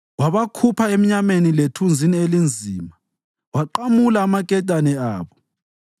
Wabakhupha emnyameni lethunzini elinzima waqamula amaketane abo.